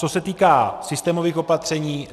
Co se týká systémových opatření.